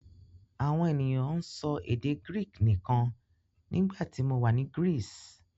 Àwọn ènìyàn ń sọ èdè Greek nìkan nígbà tí mo wà ní Greece.